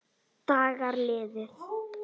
Dagar líða.